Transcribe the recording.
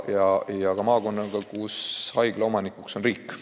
Ka on maakonnas haigla, mille omanik on riik.